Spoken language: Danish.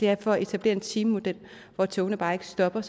er for at etablere en timemodel hvor togene bare ikke stopper